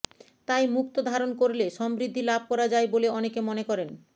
তাই মুক্তো ধারণ করলে সমৃদ্ধি লাভ করা যায় বলে অনেকে মনে করেন